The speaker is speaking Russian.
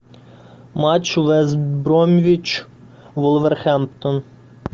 матч вест бромвич вулверхэмптон